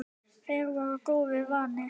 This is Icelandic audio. Þeir voru góðu vanir.